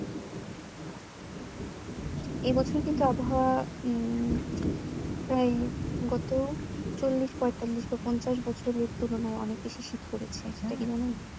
এ বছর কিন্তু আবহাওয়া উম প্রায় গত চল্লিশ পঁয়তাল্লিশ বা পঞ্চাশ বছরের তুলনায় অনেক বেশি শীত পড়েছে সেটা কি জানেন?